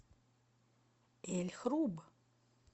эль хруб